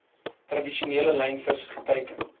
tradisionele lynvis geteiken